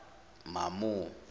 mamo